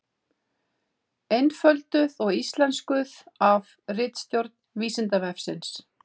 Einfölduð og íslenskuð af ritstjórn Vísindavefsins.